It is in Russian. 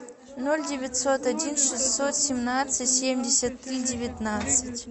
ноль девятьсот один шестьсот семнадцать семьдесят три девятнадцать